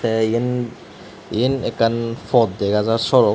te iyen iyen ekkan pod dega jar sohorot.